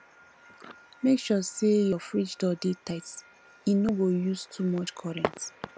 make sure sey your fridge door dey tight e no go use too much current